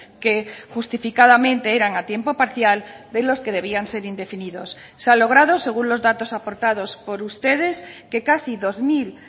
que justificadamente eran a tiempo parcial de los que debían ser indefinidos se ha logrado según los datos aportados por ustedes que casi dos mil